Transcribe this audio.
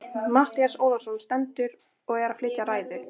Matthías Ólafsson stendur og er að flytja ræðu.